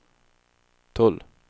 tull